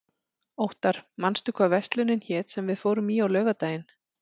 Óttar, manstu hvað verslunin hét sem við fórum í á laugardaginn?